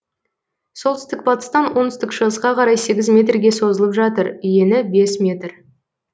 солтүстік батыстан оңтүстік шығысқа қарай сегіз метрге созылып жатыр ені бес метр